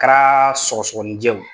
A Kara sɔgɔsɔgɔninjɛw